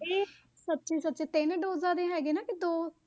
ਇਹ ਸੱਚ ਸੱਚ ਤਿੰਨ ਡੋਜਾਂ ਦੇ ਹੈਗੇ ਨਾ, ਕਿ ਦੋ?